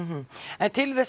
en til þess